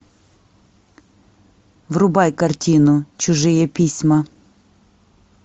врубай картину чужие письма